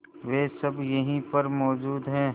वे सब यहीं पर मौजूद है